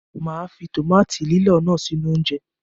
Màá fi tòmáàtì lílọ̀ náà sínú oúnjẹ.